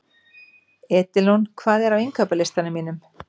Edilon, hvað er á innkaupalistanum mínum?